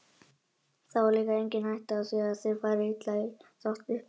Þá er líka engin hætta á því að þeir fari illa í uppþvottavél.